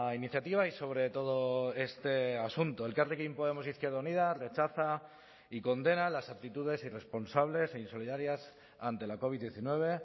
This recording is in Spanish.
iniciativa y sobre todo este asunto elkarrekin podemos izquierda unida rechaza y condena las actitudes irresponsables e insolidarias ante la covid diecinueve